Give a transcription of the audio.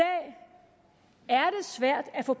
svært at få